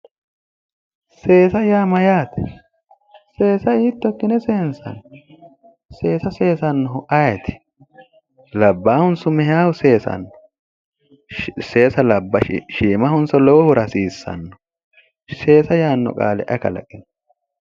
Seesa yaa Mayyaate? seesa hiitto ikkine seenisayi? seesa seesannohu ayeti? Labbaahuniso meyahu seesanno? seesu jawahonisso shiimaho hasiisawo? seesa yaanno qaale ayi kalaqi?